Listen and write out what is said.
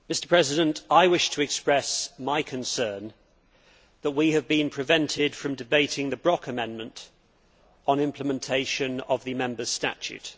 Mr President, I wish to express my concern that we have been prevented from debating the Brok amendment on implementation of the Members' Statute.